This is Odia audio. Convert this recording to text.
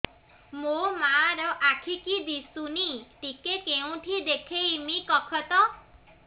ମୋ ମା ର ଆଖି କି ଦିସୁନି ଟିକେ କେଉଁଠି ଦେଖେଇମି କଖତ